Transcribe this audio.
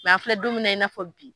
an filɛ don min na i n'a fɔ bi